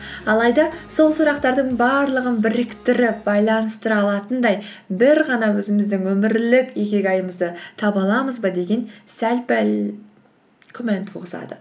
алайда сол сұрақтардың барлығын біріктіріп байланыстыра алатындай бір ғана өзіміздің өмірлік икигайымызды таба аламыз ба деген сәл пәл күмән туғызады